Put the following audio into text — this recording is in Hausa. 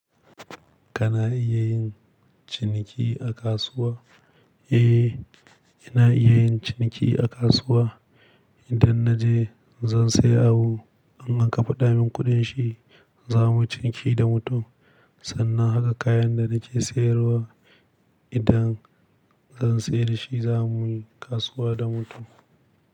Kana iya yin ciniki a kasuwa? Eh, ina iya yin ciniki a kasuwa. Idan na je zan siya abu, in an kafaɗa min kuɗin shi, za mu ciniki da mutum. Sannan haka kayan da nake sayarwa, idan zan sayar da shi, za mu yi kasuwa da mutum.